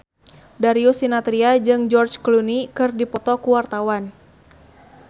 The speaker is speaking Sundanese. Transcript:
Darius Sinathrya jeung George Clooney keur dipoto ku wartawan